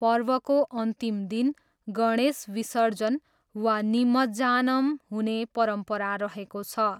पर्वको अन्तिम दिन गणेश विसर्जन वा निमज्जानम हुने परम्परा रहेको छ।